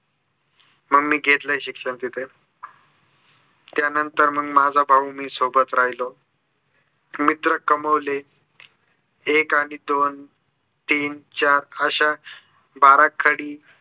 मग मी घेतलय शिक्षण तिथे. त्यानंतर माझा भाऊ आणि मी सोबत राहिलो. मित्र कमविले एक आणि दोन तीन चार अश्या बाराखडी